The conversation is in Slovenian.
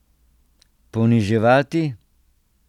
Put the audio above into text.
Poniževati?